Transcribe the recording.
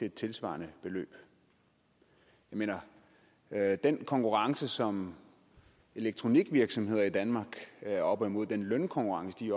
et tilsvarende beløb jeg mener at den konkurrence som elektronikvirksomheder i danmark er oppe imod den lønkonkurrence de